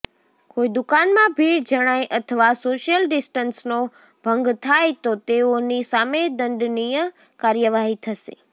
કોઈ દુકાનમાં ભીડ જણાય અથવા સોશિયલ ડીસ્ટન્સનો ભંગ થાય તો તેઓની સામે દંડનીય કાર્યવાહી થશે